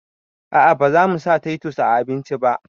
A'a bazamu sa taitus a abinci ba